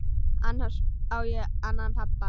Annars á ég annan pabba.